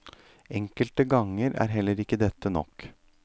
Enkelte ganger er heller ikke dette nok.